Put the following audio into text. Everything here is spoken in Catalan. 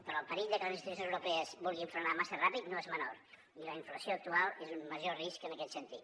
però el perill de que les institucions europees vulguin frenar massa ràpid no és menor i la inflació actual és un major risc en aquest sentit